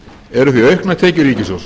eru því auknar tekjur ríkissjóðs